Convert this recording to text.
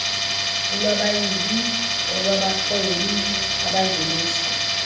olwabayili olwabarhwebi abangenisa